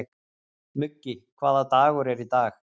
Muggi, hvaða dagur er í dag?